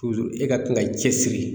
e ka to ka i cɛsiri